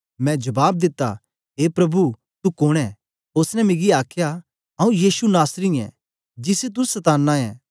मैं जबाब दिता ए प्रभु तू कोन ऐं ओसने मिकी आखया आंऊँ यीशु नासरी ऐं जिसी तू सताना ऐं